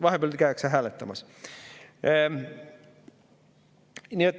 Vahepeal käiakse hääletamas.